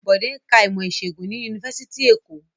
Bode ń ka ìmọ̀-ìṣègùn ni Yunifásitì Èkó.